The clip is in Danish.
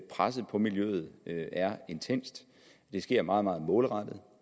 presset på miljøet er intenst det sker meget meget målrettet